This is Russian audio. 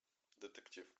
детектив